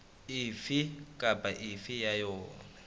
efe kapa efe ya yona